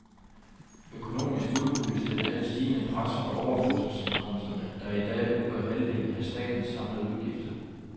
Økonomisk udhules den af det stigende pres fra overførselsindkomsterne, der i dag udgør halvdelen af statens samlede udgifter.